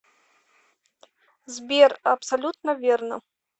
сбер абсолютно верно